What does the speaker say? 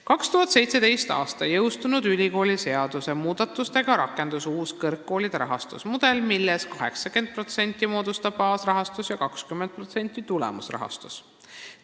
" 2017. aastal jõustunud ülikooliseaduse muudatustega rakendus uus kõrgkoolide rahastusmudel, milles 80% moodustab baasrahastus ja 20% tulemusrahastus.